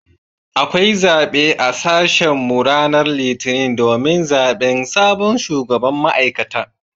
Akwai zabe a sashen mu ranar litinin domin zaben sabon shugaban ma’aikata.